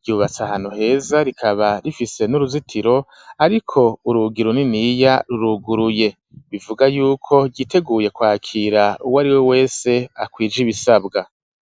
ryubatse ahantu heza rikaba rifise n'uruzitiro ariko urugi runiniya ruruguruye, bivuga y'uko ryiteguye kwakira uwo ari we wese akwije ibisabwa.